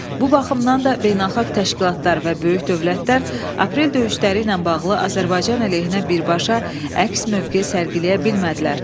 Bu baxımdan da beynəlxalq təşkilatlar və böyük dövlətlər aprel döyüşləri ilə bağlı Azərbaycan əleyhinə birbaşa əks mövqe sərgiləyə bilmədilər.